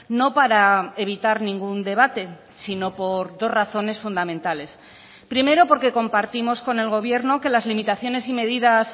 no para evitar ningún debate sino por dos razones fundamentales primero porque compartimos con el gobierno que las limitaciones y medidas